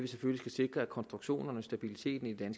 sikre at konstruktionerne og stabiliteten i det